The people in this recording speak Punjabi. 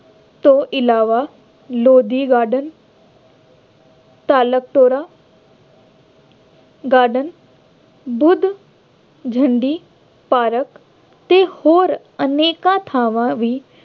ਤੋਂ ਇਲਾਵਾ Lodhi garden, Talukpura garden, Buddh Jhandi park ਅਤੇ ਹੋਰ ਅਨੇਕਾਂ ਥਾਵਾਂ ਵੀ